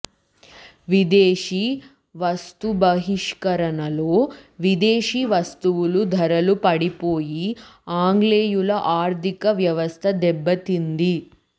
విదేశీ వస్తుబహిష్కరణలో విదేశీ వస్తువులు ధరలు పడిపోయి ఆంగ్లేయుల ఆర్థిక వ్యవస్థ దెబ్బతింది